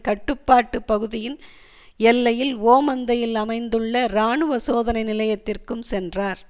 கட்டுப்பாட்டு பகுதியின் எல்லையில் ஓமந்தையில் அமைந்துள்ள இராணுவ சோதனை நிலையத்திற்கும் சென்றார்